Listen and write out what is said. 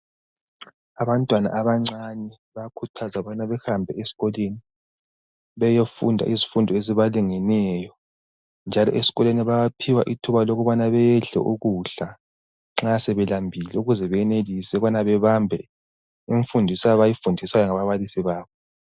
Abantwana abancane bayakhuthazwa ukubana behambe esikolweni, beyofunda izifundo ezibalingeneyo, njalo esikolweni bayaphiwa ithuba lokubana bedle ukudla nxa sebelambile ukuze beyenelise ukubana bebambe imfundiso abayifundiswayo ngababalisi babo.